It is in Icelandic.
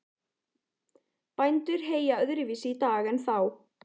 Bændur heyja öðruvísi í dag en þá.